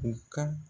U ka